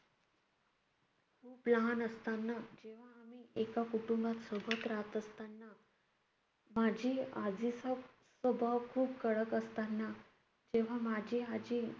खूप लहान असताना जेव्हा आम्ही एका कुटुंबात सोबत राहत असताना माझी आजीचा स्वभाव खूप कडक असताना, जेव्हा माझी आजी